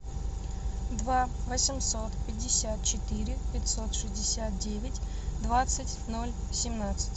два восемьсот пятьдесят четыре пятьсот шестьдесят девять двадцать ноль семнадцать